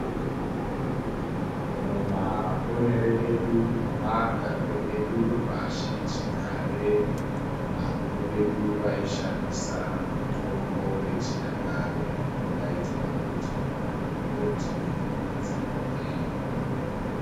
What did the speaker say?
Mumaponere edu nemagarire edu pashichigare, vakuru vedu vaishandisa mitombo yechinyakare inodaidzwa kuti magomboti, nzinde.